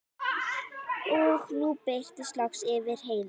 Og nú birti loks yfir Heiðu.